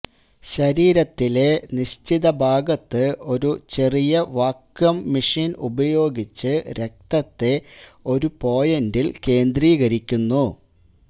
ശരീരത്തിലെ നിശ്ചിത ഭാഗത്ത് ഒരു ചെറിയ വാക്വം മെഷിൻ ഉപയോഗിച്ച് രക്തത്തെ ഒരു പോയിന്റിൽ കേന്ദ്രീകരിക്കുന്നു